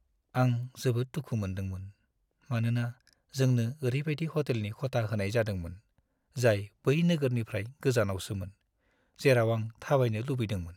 आं जोबोद दुखु मोनदोंमोन, मानोना जोंनो ओरैबायदि ह'टेलनि खथा होनाय जादोंमोन, जाय बै नोगोरनिफ्राय गोजानावसोमोन, जेराव आं थाबायनो लुबैदोंमोन।